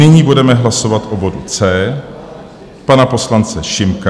Nyní budeme hlasovat o bodu C pana poslance Šimka.